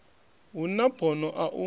hu na bono a u